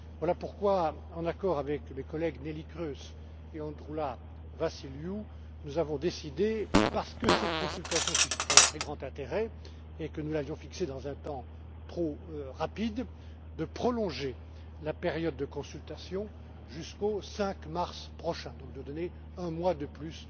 Voilà pourquoi, en accord avec mes collègues Neelie Kroes et Androulla Vassiliou, nous avons décidé, parce que cette consultation suscite un très grand intérêt et que nous l'avions fixée dans un délai trop court, de prolonger la période de consultation jusqu'au 5 mars prochain, donc de donner un mois de plus.